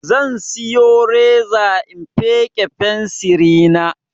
Zan siyo reza in feƙe fensiri na